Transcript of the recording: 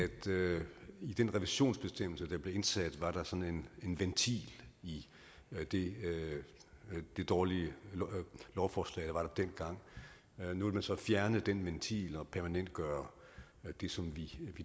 i den revisionsbestemmelse der blev indsat var der sådan en ventil i det dårlige lovforslag der var der dengang nu vil man så fjerne den ventil og permanentgøre det som vi